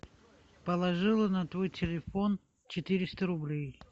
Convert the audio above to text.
положила на твой телефон четыреста рублей